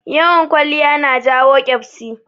Yawan kwaliya na jawo ƙyabsi